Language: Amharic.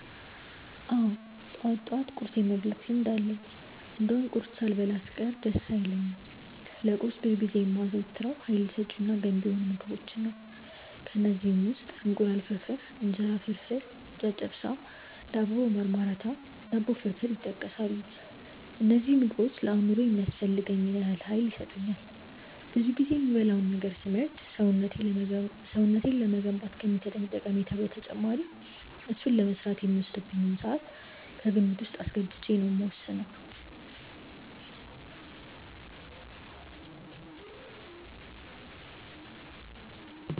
አዎ ጠዋት ጠዋት ቁርስ የመብላት ልምድ አለኝ እንደውም ቁርስ ሳልበላ ስቀር ደስ አይለኝም። ለቁርስ ብዙ ጊዜ የማዘወትረው ሀይል ሰጪ እና ገንቢ የሆኑ ምግቦችን ነው። ከእነዚህም ውስጥ እንቁላል ፍርፍር፣ እንጀራ ፍርፍር፣ ጨጨብሳ፣ ዳቦ በማርማራታ፣ ዳቦ ፍርፍር ይጠቀሳሉ። እነዚህ ምግቦች ለአእምሮዬ የሚያስፈልገኝን ያህል ሀይል ይሰጡኛል። ብዙ ጊዜ የምበላውን ነገር ስመርጥ ሰውነቴን ለመገንባት ከሚሰጠኝ ጠቀሜታ በተጨማሪ እሱን ለመስራት የሚወስድብኝን ስዓት ከግምት ውስጥ አስገብቼ ነው የምወስነው።